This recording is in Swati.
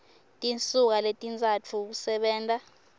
tinsuku letintsatfu kusebenta